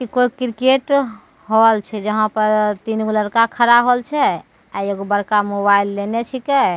कोय cricket hall छे जहां पर तीन गो लड़का खड़ा होल छे एगो बड़का मोबाइल लेने छीके।